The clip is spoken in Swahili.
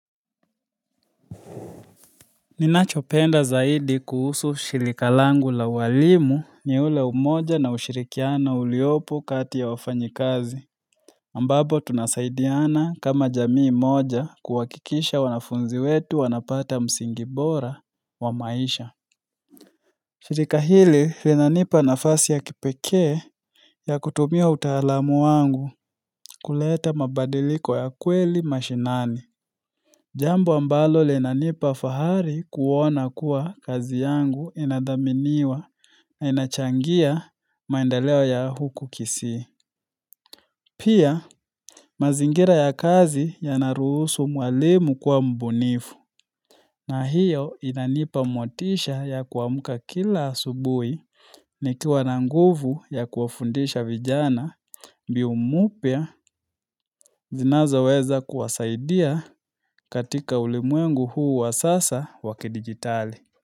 Ninachopenda zaidi kuhusu shirika langu la uwalimu ni ule umoja na ushirikiano uliopo kati ya wafanyikazi ambapo tunasaidiana kama jamii moja kuhakikisha wanafunzi wetu wanapata msingi bora wa maisha shirika hili linanipa nafasi ya kipekee ya kutumia utaalamu wangu kuleta mabadiliko ya kweli mashinani Jambu ambalo linanipa fahari kuona kuwa kazi yangu inadhaminiwa na inachangia maenda leo ya huku kisii. Pia, mazingira ya kazi yanaruhusu mwalimu kuwa mbunifu. Na hiyo inanipa motisha ya kuamka kila asubui nikiwa na nguvu ya kuwa fundisha vijana mbiu mpya zinazoweza kuwasaidia katika ulimwengu huu wa sasa wa kidigitali.